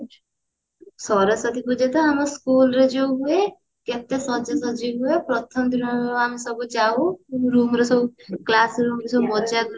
ସରସ୍ଵତୀ ପୂଜା ତ ଆମ school ରେ ଯୋଉ ହୁଏ କେତେ ସାଜ ସଜ୍ଜା ହୁଏ ଆମେ ସବୁ ଯାଉ କେମତି ଆମର ସବୁ class ରେ ସବୁ ମଜା କରନ୍ତି